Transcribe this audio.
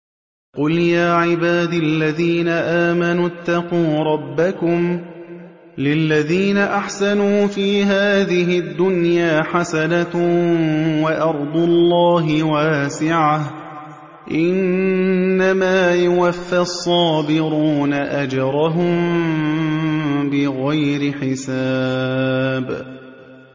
قُلْ يَا عِبَادِ الَّذِينَ آمَنُوا اتَّقُوا رَبَّكُمْ ۚ لِلَّذِينَ أَحْسَنُوا فِي هَٰذِهِ الدُّنْيَا حَسَنَةٌ ۗ وَأَرْضُ اللَّهِ وَاسِعَةٌ ۗ إِنَّمَا يُوَفَّى الصَّابِرُونَ أَجْرَهُم بِغَيْرِ حِسَابٍ